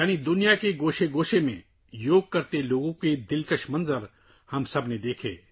یعنی ہم سب نے دنیا کے کونے کونے میں یوگا کرنے والے لوگوں کے خوبصورت نظارے دیکھے